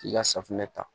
K'i ka safunɛ ta